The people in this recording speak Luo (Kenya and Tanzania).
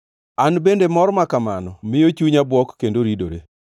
“An bende mor ma kamano miyo chunya bwok kendo ridore.